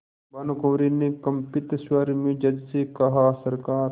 भानुकुँवरि ने कंपित स्वर में जज से कहासरकार